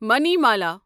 Manimala